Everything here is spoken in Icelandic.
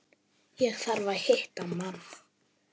Ég þarf að hitta mann.